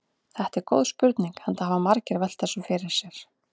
Þetta er góð spurning enda hafa margir velt þessu fyrir sér.